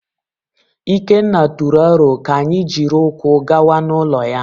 Ikenna tụrụ aro ka anyị jiri ụkwụ gawa n’ụlọ ya.